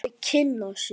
Þau kynna sig.